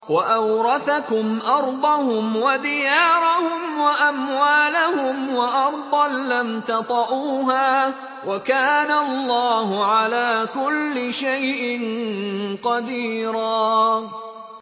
وَأَوْرَثَكُمْ أَرْضَهُمْ وَدِيَارَهُمْ وَأَمْوَالَهُمْ وَأَرْضًا لَّمْ تَطَئُوهَا ۚ وَكَانَ اللَّهُ عَلَىٰ كُلِّ شَيْءٍ قَدِيرًا